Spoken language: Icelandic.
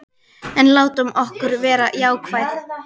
En látum okkur vera jákvæð.